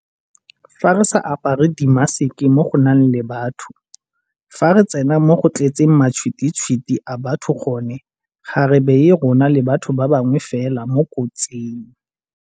Fa re sa apare dimaseke mo go nang le batho, fa re tsena mo go tletseng matšhwititšhwiti a batho gone, ga re baye rona le batho ba bangwe fela mo kotsing.